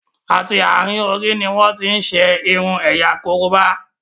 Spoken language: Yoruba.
àti àrin Orí ní wón tin ṣe irun ẹ̀yà koroba.